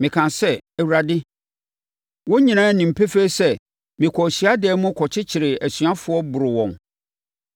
“Mekaa sɛ, ‘Awurade, wɔn nyinaa nim pefee sɛ mekɔɔ hyiadan mu kɔkyekyeree asuafoɔ, boroo wɔn.